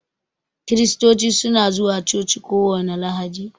Kiristoci su na zuwa coci kowani lahadi.